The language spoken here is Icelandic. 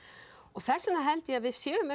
þess vegna held ég að við séum